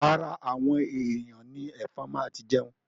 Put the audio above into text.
Ara àwọn èyàn ni ẹ̀fọn máa ti jẹun.